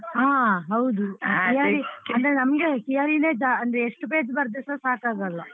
ಹಾ ಹೌದು ಅಂದ್ರೆ ನಮ್ಗೆ theory ನೇ ಜಾ~ ಅಂದ್ರೆ ಎಷ್ಟು page ಬರ್ದ್ರುಸ ಸಾಕಾಗಲ್ಲ.